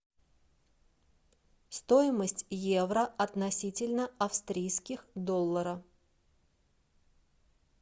стоимость евро относительно австрийских долларов